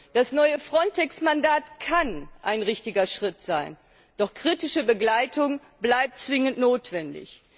Das neue FRONTEX Mandat kann ein richtiger Schritt sein, doch kritische Begleitung bleibt zwingend notwendig.